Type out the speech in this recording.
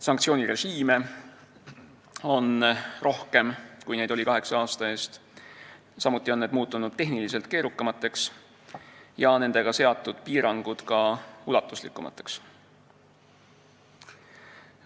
Sanktsioonirežiime on rohkem, kui neid oli kaheksa aasta eest, samuti on need muutunud tehniliselt keerukamaks ja nendega seatud piirangud ka ulatuslikumaks.